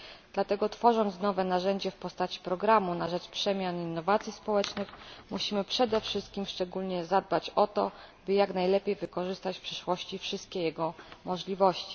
Dlatego tworząc nowe narzędzie w postaci programu na rzecz przemian i innowacji społecznych, musimy przede wszystkim szczególnie zadbać o to, by jak najlepiej wykorzystać w przyszłości wszystkie jego możliwości.